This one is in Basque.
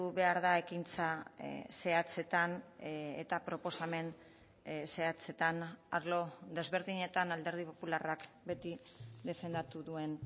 behar da ekintza zehatzetan eta proposamen zehatzetan arlo desberdinetan alderdi popularrak beti defendatu duen